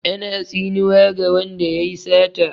Ana tsinuwa ga wanda yayi sata.